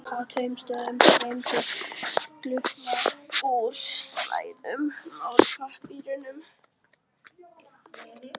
Á tveimur stöðum streymdi gufa úr sverum málmpípum.